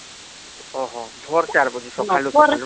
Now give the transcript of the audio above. ଓହହ. ଭୋର ଚାର ବାଜେ ,ସଖାଳୁ ଚାର ରୁ ନା